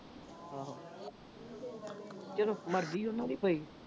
ਆਹੋ। ਚਲੋ ਮਰਜ਼ ਆ ਉਨ੍ਹਾਂ ਦੀ ਭਈ।